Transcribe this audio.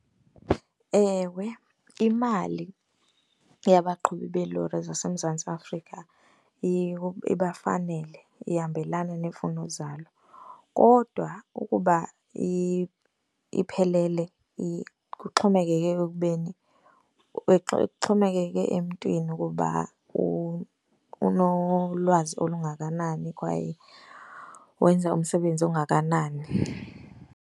Ewe, imali yabaqhubi beelori zaseMzantsi Afrika ibafanele, ihambelana neemfuno zabo. Kodwa ukuba iphelele kuxhomekeke ekubeni, kuxhomekeke emntwini ukuba unolwazi olungakanani kwaye wenza umsebenzi ongakanani.